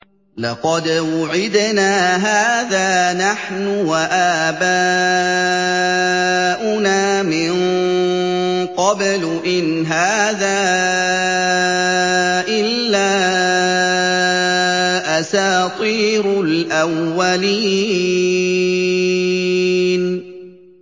لَقَدْ وُعِدْنَا هَٰذَا نَحْنُ وَآبَاؤُنَا مِن قَبْلُ إِنْ هَٰذَا إِلَّا أَسَاطِيرُ الْأَوَّلِينَ